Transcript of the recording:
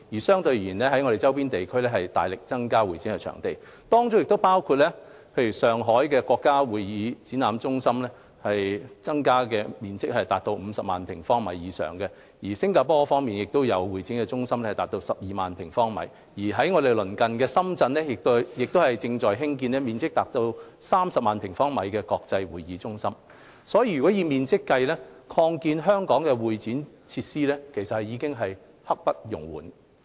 相對而言，香港的周邊地區均大力增加會展場地，當中包括面積達50萬平方米的上海國家會展中心，而新加坡方面有面積達12萬平方米的會展中心。本港鄰近的深圳亦正在興建面積達30萬平方米的國際會展中心。所以，以面積計，擴建香港的會展設施已是刻不容緩。